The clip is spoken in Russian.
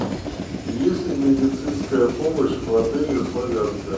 есть ли медицинская помощь в отеле славянка